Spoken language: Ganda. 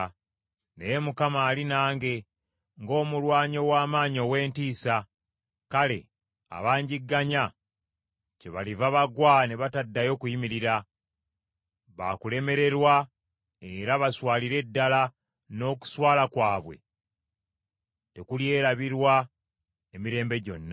Naye Mukama ali nange ng’omulwanyi ow’amaanyi ow’entiisa, kale abanjigganya kyebaliva bagwa ne bataddayo kuyimirira. Baakulemererwa era baswalire ddala n’okuswala kwabwe tekulyerabirwa emirembe gyonna.